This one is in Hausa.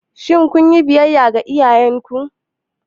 Shin kun yi biyayya ga iyayenku?